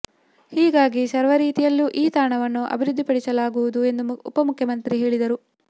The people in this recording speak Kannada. ಹೀಗಾಗಿ ಸರ್ವರೀತಿಯಲ್ಲೂ ಈ ತಾಣವನ್ನು ಅಭಿವೃದ್ಧಿಪಡಿಸಲಾಗುವುದು ಎಂದು ಉಪ ಮುಖ್ಯಮಂತ್ರಿ ಹೇಳಿದರು